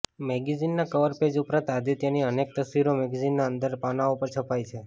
મેગેઝિનના cover page ઉપરાંત આદિત્યની અનેક તસવીરો મેગેઝિનના અંદરના પાનાંઓ પર છપાઇ છે